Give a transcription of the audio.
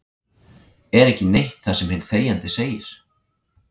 Er ekki neitt það sem hinn þegjandi segir?